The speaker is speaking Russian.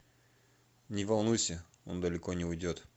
не волнуйся он далеко не уйдет